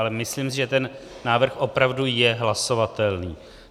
Ale myslím si, že ten návrh opravdu je hlasovatelný.